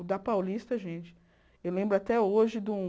O da Paulista, gente, eu lembro até hoje de um...